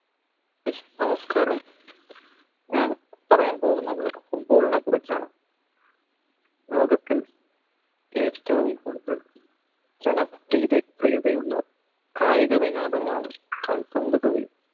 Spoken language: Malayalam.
നമസ്‌കാരം ഞാൻ പറയാൻ പോകുന്നത് football നെ കുറിച്ചാണ് ലോകത്തിൽ ഏറ്റവും കൂടുതൽ ജനം കായിക വിനോദമാണ് കൽപന്തു കാളി